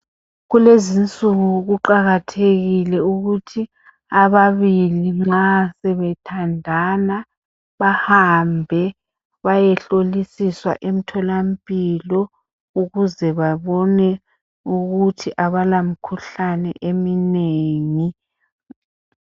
Kulezi insuku kuqakathekile ukuthi ababili nxa bethandana bahambe bayehlolisiswa emtholamphilo ukuze babone ukuthi abala mikhuhlane eminengi.